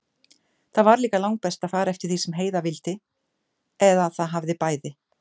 Það var líka langbest að fara eftir því sem Heiða vildi, eða það hafði bæði